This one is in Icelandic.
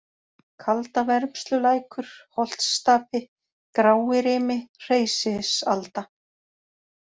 Kaldavermslulækur, Holtsstapi, Gráirimi, Hreysisalda